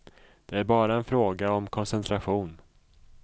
Det är bara en fråga om koncentration.